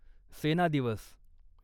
सेना दिवस